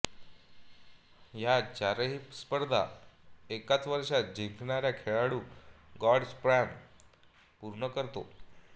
ह्या चारही स्पर्धा एकाच वर्षात जिंकणारा खेळाडू ग्रॅंड स्लॅम पूर्ण करतो